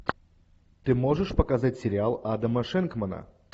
ты можешь показать сериал адама шенкмана